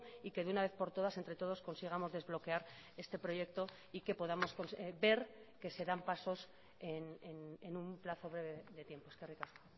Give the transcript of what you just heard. y que de una vez por todas entre todos consigamos desbloquear este proyecto y que podamos ver que se dan pasos en un plazo de tiempo eskerrik asko